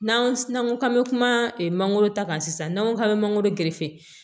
N'an ko k'an bɛ kuma mangoro ta kan sisan n'an ko k'an bɛ mangoro